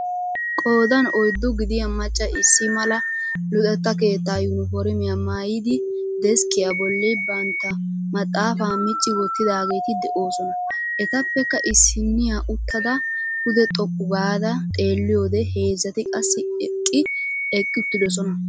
Qoodan oyddu gidiya macca issi mala luxetta keettaa yuuniformiya maayidi deskkiya bolli bantta maxaafaa micci wottidaageeti de'oosona. Etappekka issiniya uttada pude xoqqu gaada xeelliyode heezzati qassi eqqi uttidosona.